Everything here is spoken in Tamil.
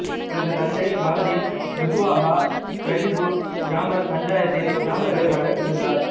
இவரது தந்தை பாலதின் குசுவாகா பிதிபூர் கிராம பஞ்சாயத்தின் கிராம தலைவராக இருந்தார்